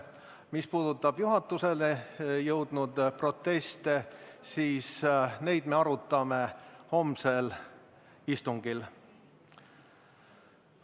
Mis puudutab juhatuseni jõudnud proteste, siis neid me arutame homsel istungil.